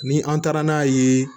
Ni an taara n'a ye